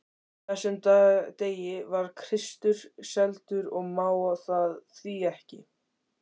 þessum degi var Kristur seldur og má það því ekki.